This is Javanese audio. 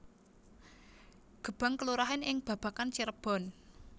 Gebang kelurahan ing Babakan Cirebon